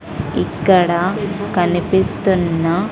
ఇక్కడ కనిపిస్తున్న--